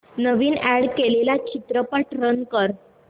नवीन add केलेला चित्रपट run कर